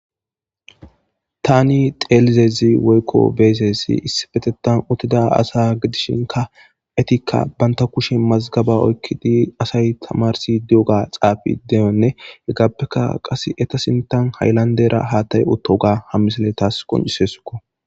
Tani xeelizezi woykko beesessi issibetetan uttida asa gidishinka etikka banta kushe mazgaba oykkidi asay tamarsi di7oga xaafi deyonne heggappeka qas eta sintan hayllandera haattay otoga hammisale taas qoncisesukko.